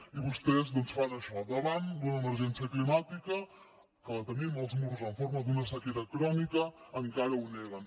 i vostès doncs fan això davant d’una emergència climàtica que la tenim als morros en forma d’una sequera crònica encara ho neguen